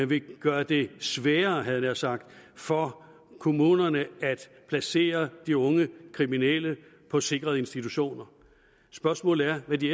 vil gøre det sværere havde jeg nær sagt for kommunerne at placere de unge kriminelle på sikrede institutioner spørgsmålet er hvad de